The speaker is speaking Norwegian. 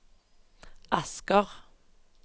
Asker